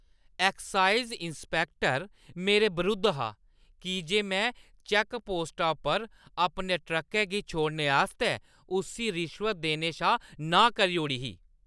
Excise inspector मेरे बरुद्ध हा की जे में चेैक्कपोस्टा उप्पर अपने ट्रकै गी छोड़ने आस्तै उस्सी रिश्वत देने शा नांह् करी ओड़ी ही।